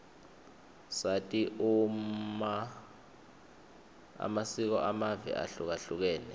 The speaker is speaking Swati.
sati amasiko amave ahlukahlukene